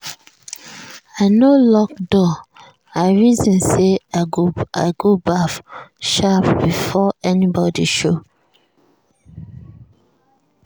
i no lock door i reason say i go baff sharp before anybody show.